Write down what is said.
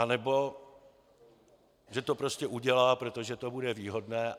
Anebo že to prostě udělá, protože to bude výhodné.